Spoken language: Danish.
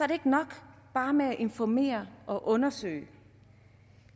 det ikke nok bare med at informere og undersøge